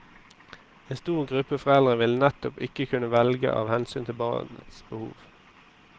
En stor gruppe foreldre vil nettopp ikke kunne velge av hensyn til barnets behov.